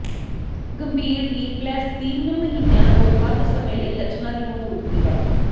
ਗੰਭੀਰ ਵ੍ਹੀਲਪਲੈਸ ਤਿੰਨ ਮਹੀਨਿਆਂ ਤੋਂ ਵੱਧ ਸਮੇਂ ਲਈ ਲੱਛਣਾਂ ਦੀ ਮੌਜੂਦਗੀ ਹੈ